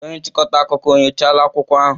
Onye nchịkọta akụkọ enyochala akwụkwọ ahụ?